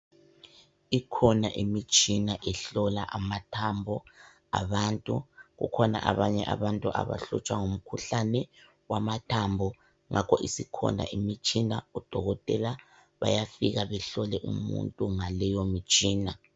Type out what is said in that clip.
Ikhona imitshina ehlola amathambo abantu kukhona abanye abantu abahlutshwa ngumkhuhlane wamathambo ngakho isikhona imitshina oDokotela bayafika behlole umuntu ngaleyo mtshina.